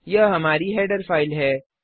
यह हमारी header file है